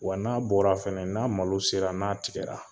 Wa n'a bɔra fana n'a malo sera n'a tigɛra